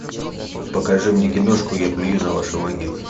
покажи мне киношку я плюю на ваши могилы